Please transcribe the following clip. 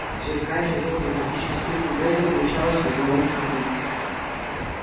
сверкающая золотом табличка с именем реддла помещалась в угловом шкафу